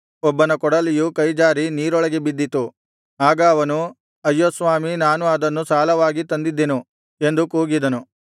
ಒಬ್ಬನ ಕೊಡಲಿಯು ಕೈಜಾರಿ ನೀರೊಳಗೆ ಬಿದ್ದಿತು ಆಗ ಅವನು ಅಯ್ಯೋ ಸ್ವಾಮಿ ನಾನು ಅದನ್ನು ಸಾಲವಾಗಿ ತಂದಿದ್ದೆನು ಎಂದು ಕೂಗಿದನು